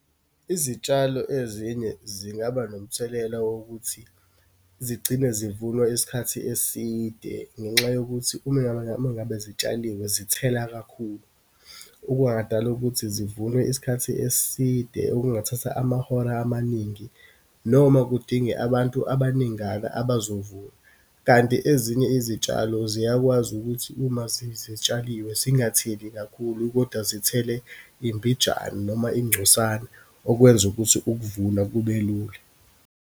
Izitshalo ezinye, zingaba nomthelela wokuthi zigcine zivunwa isikhathi eside ngenxa yokuthi uma, uma ngabe zitshaliwe, zithela kakhulu. Okungadala ukuthi zivunwe isikhathi eside, okungathatha amahora amaningi, noma kudinge abantu abaningana abazovuna. Kanti ezinye izitshalo ziyakwazi ukuthi uma zitshaliwe zingatheli kakhulu, kodwa zithele imbijana noma ingcosana, okwenza ukuthi ukuvuna kubelula.